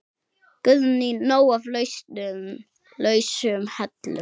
Guðný: Nóg af lausum hellum?